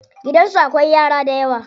Gidansu akwai yara dayawa.